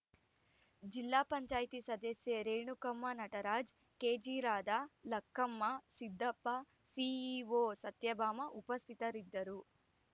ಜಿಲ್ಲಾ ಪಂಚಾಯತಿ ಸದಸ್ಯೆ ರೇಣುಕಮ್ಮ ನಟರಾಜ್‌ ಕೆಜಿರಾಧ ಲಕ್ಕಮ್ಮ ಸಿದ್ದಪ್ಪ ಸಿಇಒ ಸತ್ಯಭಾಮ ಉಪಸ್ಥಿತರಿದ್ದರು